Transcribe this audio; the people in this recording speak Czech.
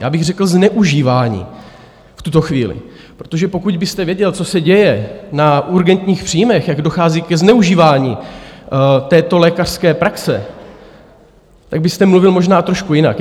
Já bych řekl zneužívání v tuto chvíli, protože pokud byste věděl, co se děje na urgentních příjmech, jak dochází ke zneužívání této lékařské praxe, tak byste mluvil možná trošku jinak.